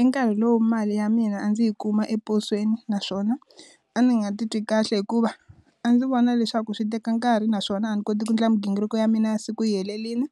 I nkarhi lowu mali ya mina a ndzi yi kuma eposweni naswona a ndzi nga ti twi kahle hikuva a ndzi vona leswaku swi teka nkarhi naswona a ndzi koti ku endla mighingiriko ya mina ya siku yi helelini